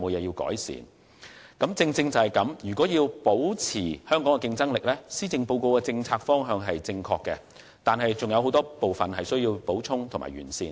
有見及此，要保持香港的競爭力，施政報告的政策方向是正確的，但尚有很多部分需要補充和完善。